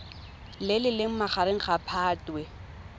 le leng magareng ga phatwe